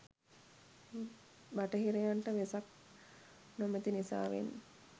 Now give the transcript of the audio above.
බටහිරයන්ට වෙසක් නොමැති නිසාවෙන්